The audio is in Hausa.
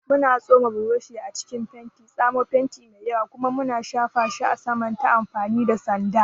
Muna tsoma burushi a cikin fenti, tsamo fenti mai yawa, kuma muna shafa shi a saman ta amfani da sanda.